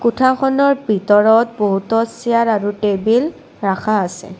কোঠাখনৰ ভিতৰত বহুতো চিয়াৰ আৰু টেবেল ৰাখা আছে।